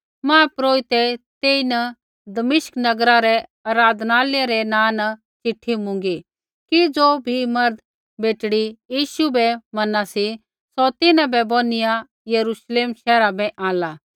महापुरोहितै तेईन दमिश्क नगरा रै आराधनालय रै नाँ न चिट्ठी मुँगी कि ज़ो भी मर्द बेटड़ी यीशु बै मना सी सौ तिन्हां बै बोनिआ यरूश्लेम शैहरा बै आंणला